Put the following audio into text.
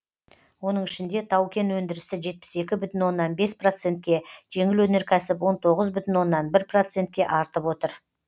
оның ішінде тау кен өндірісі жетпіс екі бүтін оннан бес процентке жеңіл өнеркәсіп он тоғыз бүтін оннан бір процентке артып отыр